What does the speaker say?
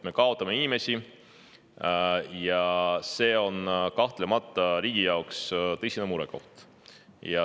Me kaotame inimesi ja see on kahtlemata riigi jaoks tõsine murekoht.